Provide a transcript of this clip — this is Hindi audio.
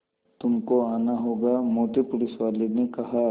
तुमको आना होगा मोटे पुलिसवाले ने कहा